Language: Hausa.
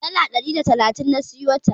Dala ɗari da talatin na siyota.